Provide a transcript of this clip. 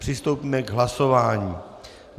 Přistoupíme k hlasování.